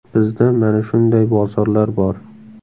Bizda mana shunday bozorlar bor.